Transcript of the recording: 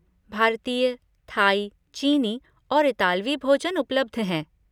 भारतीय, थाई, चीनी और इतालवी भोजन उपलब्ध हैं।